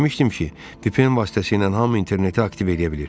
Eşitmişdim ki, VPN vasitəsilə hamı interneti aktiv eləyə bilir.